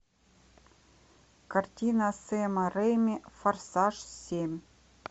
картина сэма рэйми форсаж семь